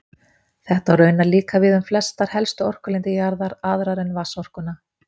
Þetta á raunar líka við um flestar helstu orkulindir jarðar, aðrar en vatnsorkuna.